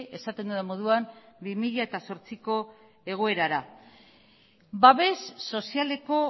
esaten dudan moduan bi mila zortziko egoerara babes sozialeko